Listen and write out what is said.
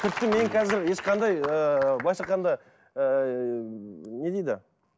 тіпті мен қазір ешқандай ыыы былайша айтқанда ыыы не дейді